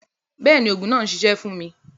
Bẹẹni, oogun naa n ṣiṣẹ fun mi.